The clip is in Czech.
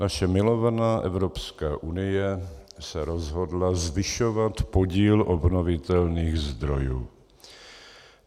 Naše milovaná Evropská unie se rozhodla zvyšovat podíl obnovitelných zdrojů.